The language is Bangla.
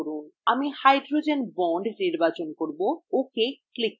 আমি hydrogen bond নির্বাচন করব এবং ok click করব